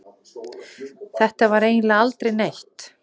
Þetta var eiginlega aldrei neitt.